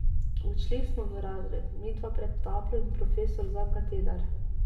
Odšli smo v razred, midva pred tablo in profesor za kateder.